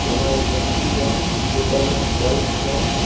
हां एक व्यक्ति है ऊपर में एक बल्ब है।